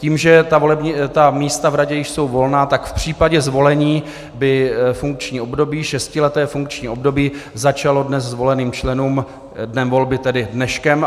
Tím, že ta místa v radě již jsou volná, tak v případě zvolení by šestileté funkční období začalo dnes zvoleným členům dnem volby, tedy dneškem.